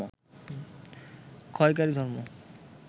ক্ষয়কারী ধর্ম